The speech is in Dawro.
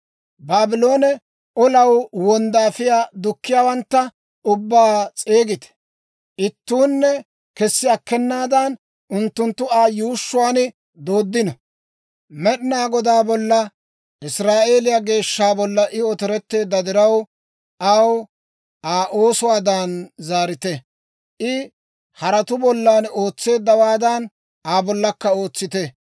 «Baabloone olanaw wonddaafiyaa dukkiyaawantta ubbaa s'eegite; ittuunne kessi akkenaadan, unttunttu Aa yuushshuwaan dooddino. Med'inaa Godaa bolla, Israa'eeliyaa Geeshsha bolla, I otoretteedda diraw, aw Aa oosuwaadan zaarite. I haratuu bollan ootseeddawaadan, Aa bollankka ootsite.